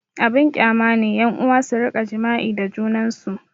Abin kyama ne ƴan'uwa su rika jima'i da junansu